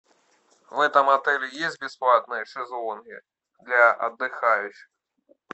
в этом отеле есть бесплатные шезлонги для отдыхающих